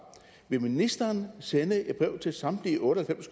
vil ministeren sende et brev til samtlige otte og